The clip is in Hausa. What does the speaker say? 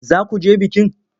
Za ku je bikin?